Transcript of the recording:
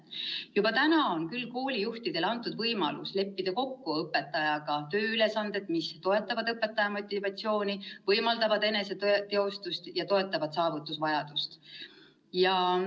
Juba praegu on koolijuhtidele antud võimalus leppida kokku õpetajaga tööülesanded, mis toetavad õpetaja motivatsiooni, võimaldavad eneseteostust ja toetavad saavutusvajadust.